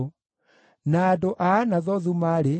na andũ a Jeriko maarĩ 345,